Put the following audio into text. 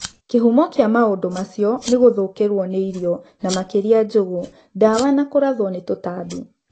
Kĩhumo kĩa maũndũ acio nĩ gũthũkĩrwo nĩ irio(na makĩria njũgũ), ndawa na kũrathwo nĩ tũtambi.